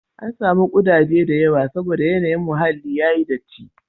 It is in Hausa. An samu ƙudaje da yawa saboda yanayin muhallin ya yi datti.